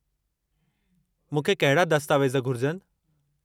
मूंखे कहिड़ा दस्तावेज़ घुरिजनि।